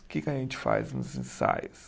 O que que a gente faz nos ensaios?